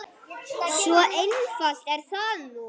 Svo einfalt er það nú.